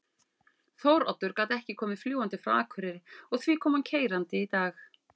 Þóroddur gat ekki komið fljúgandi frá Akureyri og því kom hann keyrandi í dag.